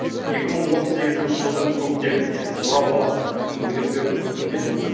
екі мың он сегізінші жылдың көктемінде орал қаласында мүгедектердің өздігінен өмір